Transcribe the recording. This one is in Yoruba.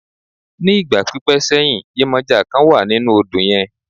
Ní ìgbà pípẹ́ sẹ́yìn, yemọja kan wà nínú odò yẹn.